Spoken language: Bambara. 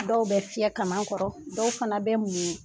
Dɔw bɛ fiɲɛ kama kɔrɔ dɔw fana bɛ mun